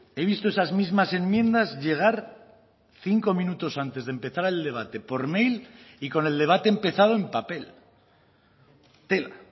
he visto esas mismas enmiendas llegar cinco minutos antes de empezar el debate por mail y con el debate empezado en papel tela